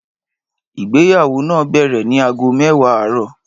Ìgbéyàwó náà bẹ̀rẹ̀ ní aago mẹ́wàá àárọ̀